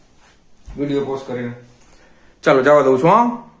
video post કરીને ચાલો જવા દઉં છું હમ